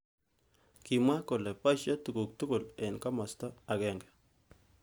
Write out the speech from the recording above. Kimwa kole boishei tukuk tukul eng kimosta agenge